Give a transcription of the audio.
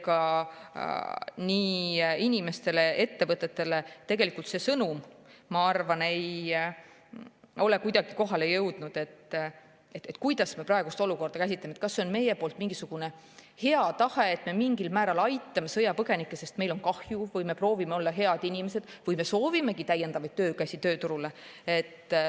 Ega ei inimestele ega ettevõtetele tegelikult see sõnum, ma arvan, ei ole kuidagi kohale jõudnud, kuidas me praegust olukorda käsitame: kas see on meie poolt mingisugune hea tahe, et me mingil määral aitame sõjapõgenikke, sest meil on neist kahju ja me proovime olla head inimesed, või me soovimegi täiendavaid töökäsi tööturule.